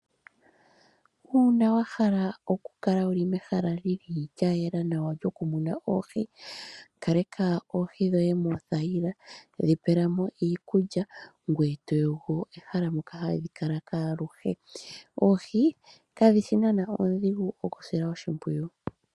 Uuna wa hala okukala wu li mehala li li lya yela nawa lyokumuna oohi; kaleka oohi dhoye moothayila, dhi pela mo iikulya ngoye to yogo ehala moka hadhi kala aluhe. Oohi kadhi shi naanaa oondhigu okusila oshimpwiyu.